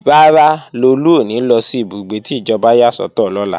Rárá, Lolú ò ní lọ sí ìbúgbé tí ìjọba yà sọ́tọ̀ lọ́la